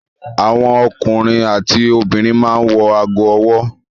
Àwọn ọkùnrin àti obìnrin máa ń wọ ago-ọwọ́.